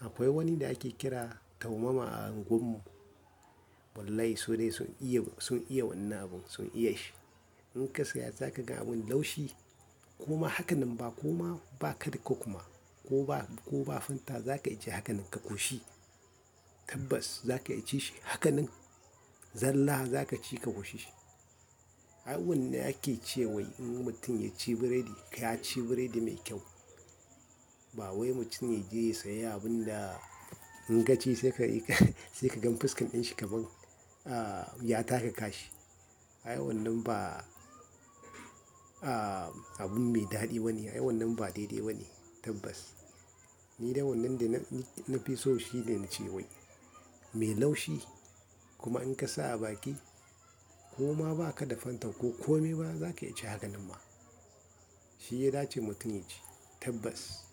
akwai wani da ake kira taumama a unguwan mu. Wallahi su dai sun iya wannan abun, sun iya shi. In ka saya za ka ga abin laushi. Kuma haka nan ba kuma ba ka da kokuma ko ba, ko ba fanta za ka iya ci haka nan ka ƙoshi. Tabbas za ka iya ci shi haka nan zallah za ka ci ka ƙoshi shi. A a wannan ake ce wai in mutum ya ci biredi, ya ci biredi mai kyau. Ba wai mutum ya je ya sayi abun da in ka ci sai ka gan fuskan ɗan shi kamar, ah, ya taka kashi. Ai wannan ba, ah, abun mai daɗi bane. Ai wannan ba daidai bane tabbas. Ni dai wannan da na fi so shi ne na ce wai mai laushi kuma in ka sa a baki ko ma ba ka da fanta ko kome ba za ka iya ci haka nan ma. Shi ya dace mutum ya ci tabbas.